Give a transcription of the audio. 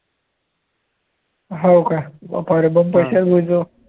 हो काय बाप्पारे!